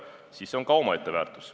See on omaette väärtus.